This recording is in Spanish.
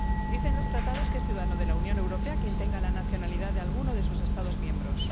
Dicen los Tratados que es ciudadano de la Unión Europea quien tenga la nacionalidad de alguno de sus Estados miembros.